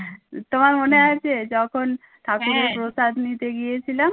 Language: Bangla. তোমার মনে আছে যখন প্রসাদ নিতে গিয়েছিলাম